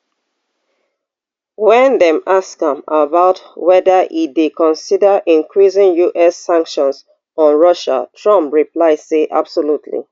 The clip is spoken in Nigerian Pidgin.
wen dem ask am about weda e dey consider increasing us sanctions on russia trump reply say absolutely